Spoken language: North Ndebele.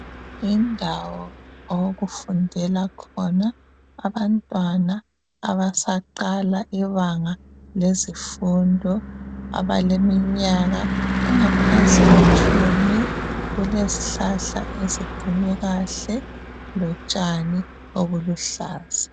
Yindawo okufundela khona abantwana abasaqala ibanga lesifundo abaleminyaka engaphansi kwetshumi kulezihlahla eziphume kahle lotshani obuluhlaza.